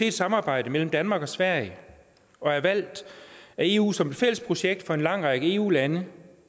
et samarbejde mellem danmark og sverige og er valgt af eu som et fælles projekt for en lang række eu lande